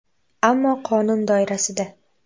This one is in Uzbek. Ammo qonun doirasida.